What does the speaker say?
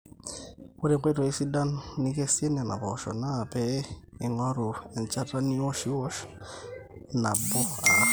ore enkoitoi sidai nikesie nena poosho naa pee ingorru enchata niosh niosh nabo arrar